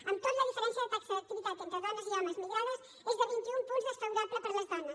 amb tot la diferència de taxa d’activitat entre homes i dones migrades és de vint i un punts desfavorable per a les dones